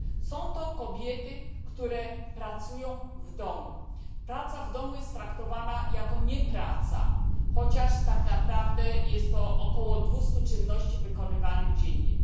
Są to kobiety, które pracują w domu. Praca w domu nie jest traktowana jako praca, chociaż tak naprawdę jest to około 200 czynności wykonywanych dziennie.